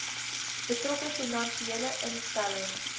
betrokke finansiële instelling